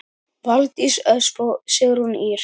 Valdís Ösp og Sigrún Ýr.